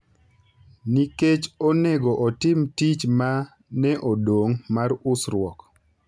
nikech onego otim tich ma ne odong’ mar usruok.